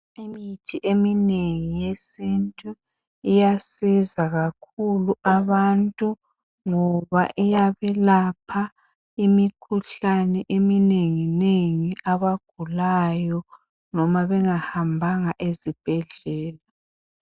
Imithi eminengi yesintu iyasiza kakhulu abantu ngoba iyabelapha imikhuhlani eminenginengi abagulayo noma bengahambanga ezibhedlela.